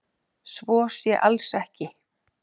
Svo sé alls ekki